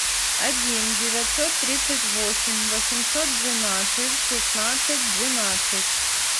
один девятьсот тридцать восемь восемьсот двенадцать шестнадцать двенадцать